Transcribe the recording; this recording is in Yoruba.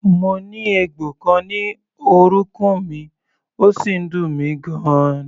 Mo ní egbò kan ní orúnkún mi, ó sì ń dùn mí gan-an.